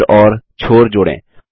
केंद्र और छोर जोड़ें